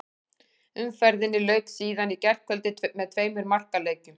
Umferðinni lauk síðan í gærkvöldi með tveimur markaleikjum.